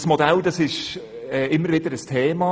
Das Modell ist immer wieder ein Thema.